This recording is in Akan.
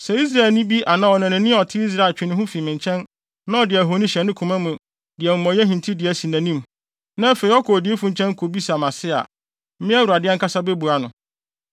“ ‘Sɛ Israelni bi anaa ɔnanani a ɔte Israel twe ne ho fi me nkyɛn na ɔde ahoni hyɛ ne koma mu de amumɔyɛ hintidua si nʼanim, na afei ɔkɔ odiyifo nkyɛn kobisa mʼase a, me, Awurade ankasa bebua no.